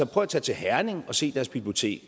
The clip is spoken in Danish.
prøv at tage til herning og se deres bibliotek